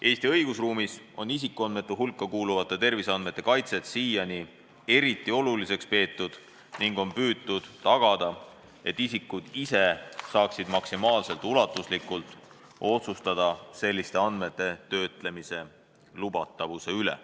Eesti õigusruumis on isikuandmete hulka kuuluvate terviseandmete kaitset siiani eriti oluliseks peetud ning on püütud tagada, et isikud ise saaksid maksimaalselt ulatuslikult otsustada selliste andmete töötlemise lubatavuse üle.